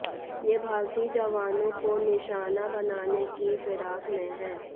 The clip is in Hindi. ये भारतीय जवानों को निशाना बनाने की फिराक में हैं